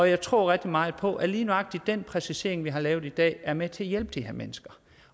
jeg tror rigtig meget på at lige nøjagtig den præcisering vi har lavet i dag er med til at hjælpe de her mennesker